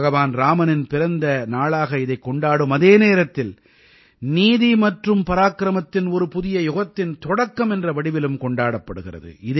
பகவான் இராமனின் பிறந்த நாளாக இதைக் கொண்டாடும் அதே நேரத்தில் நீதி மற்றும் பராக்கிரமத்தின் ஒரு புதிய யுகத்தின் தொடக்கம் என்ற வடிவிலும் கொண்டாடப்படுகிறது